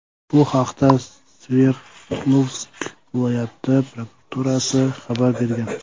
Bu haqda Sverdlovsk viloyati prokuraturasi xabar bergan .